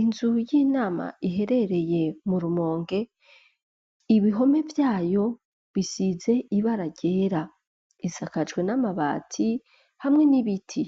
Inzu y'inama iherereye mu rumonge ibihome vyayo bisize ibararyera isakajwe n'amabati hamwe n'ibiti